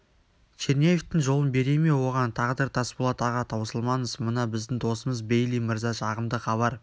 черняевтің жолын бере ме оған тағдыр тасболат аға таусылмаңыз мына біздің досымыз бейли мырза жағымды хабар